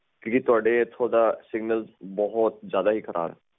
ਕਿਉਂਕਿ ਤੁਹਾਡਾ ਇੱਥੇ signal ਬਹੁਤ ਖਰਾਬ ਹੈ